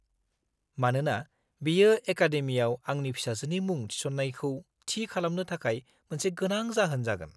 -मानोना बेयो एकादेमिआव आंनि फिसाजोनि मुं थिसननायखौ थि खालामनो थाखाय मोनसे गोनां जाहोन जागोन।